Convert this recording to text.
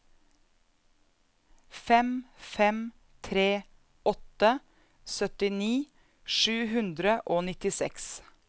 fem fem tre åtte syttini sju hundre og nittiseks